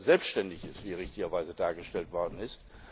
selbständig ist, wie richtigerweise dargestellt worden ist.